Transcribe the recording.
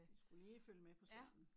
Skulle lige følge med på skærmen